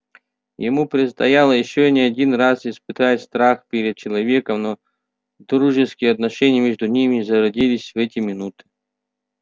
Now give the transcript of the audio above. ему предстояло ещё не один раз испытать страх перед человеком но дружеские отношения между ними зародились в эти минут